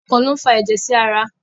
Ọkàn lo n fà ẹjẹ sí ará